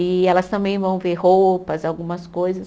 E elas também vão ver roupas, algumas coisas.